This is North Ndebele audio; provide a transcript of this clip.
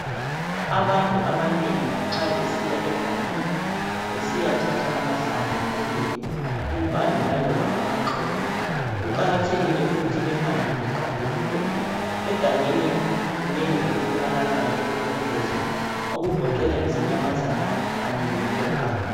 Abantu abanengi nxa besiya egangeni besiyathatha amahlamvu kumbe impande laloba amaxolo ,kuqakathekile ukuthi behambe beqaphelile .Egangeni kunengi okutholakalayo okulobungozi okugoqela izinyamazane kanye lenyoka.